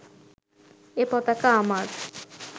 এ পতাকা আমার